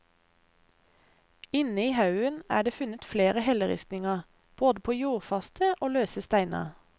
Inne i haugen er det funnet flere helleristninger, både på jordfaste og løse steiner.